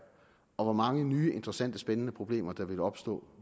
og hvor mange nye interessante og spændende problemer der ville opstå